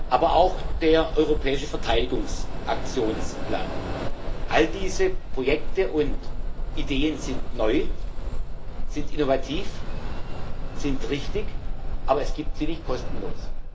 aber auch der Europäische Verteidigungs-Aktionsplan. All diese Projekte und Ideen sind neu, sind innovativ, sind richtig, aber es gibt sie nicht kostenlos.